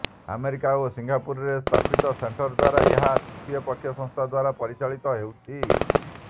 America ଓ ସିଙ୍ଗାପୁରରେ ସ୍ଥାପିତ ସେଣ୍ଟର ଦ୍ୱାରା ଏହା ତୃତୀୟ ପକ୍ଷ ସଂସ୍ଥା ଦ୍ୱାରା ପରିଚାଳିତ ହେଉଛି